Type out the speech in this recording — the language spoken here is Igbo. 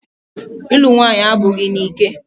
Ịlụ nwaanyị abụghị n'ike.